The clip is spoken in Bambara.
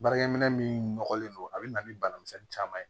Baarakɛminɛn min nɔgɔlen don a bɛ na ni bana misɛnnin caman ye